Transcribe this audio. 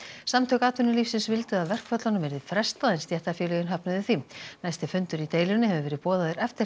samtök atvinnulífsins vildu að verkföllunum yrði frestað en stéttarfélögin höfnuðu því næsti fundur í deilunni hefur verið boðaður eftir